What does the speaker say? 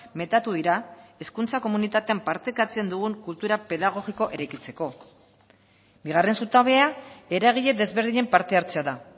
metatu dira hezkuntza komunitatean partekatzen dugun kultura pedagogiko eraikitzeko bigarren zutabea eragile desberdinen parte hartzea da